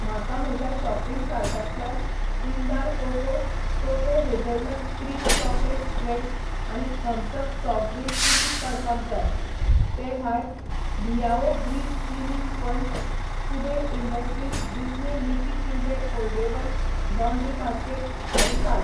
म्हाका म्हज्या शॉपिंग कार्टांतल्यान Jindal cocoa cocoa hazelnut cream chocolate spreads आनी थम्स अप सॉफ्ट ड्रिंक कुशीक काडपाक जाय. ते भायर, Liao grease cleaning sponge, Kuber industries Disney Mickey printed foldable laundry basket हेंय काड.